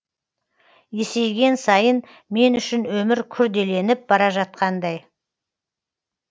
есейген сайын мен үшін өмір күрделеніп бара жатқандай